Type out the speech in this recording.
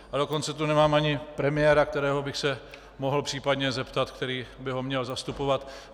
A dokonce tu nemáme ani premiéra, kterého bych se mohl případně zeptat, který by ho měl zastupovat.